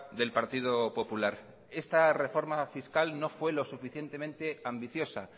del partido popular esta reforma fiscal no fue lo suficientemente ambiciosa